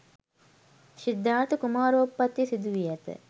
සිද්ධාර්ථ කුමාරෝත්පත්තිය සිදුවී ඇත